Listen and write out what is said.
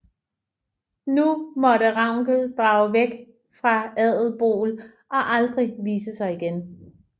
Nu måtte Ravnkel drage væk fra Adelból og aldrig vise sig igen